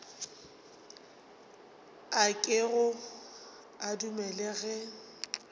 a kego a dumele ge